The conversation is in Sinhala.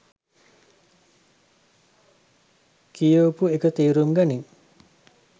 කියවපු එක තේරුම් ගනින්